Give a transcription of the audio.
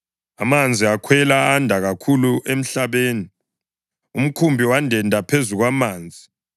Amanzi akhwela anda kakhulu emhlabeni, umkhumbi wandenda phezu kwamanzi.